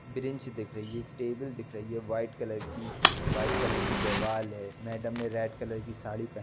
Bench दिख रही है टेबल दिख रही है वाइट कलर की वाइट कलर की दीवाल है। मैडम ने रेड कलर की साड़ी पहन --